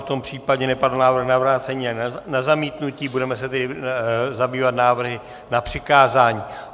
V tom případě nepadl návrh na vrácení a na zamítnutí, budeme se tedy zabývat návrhy na přikázání.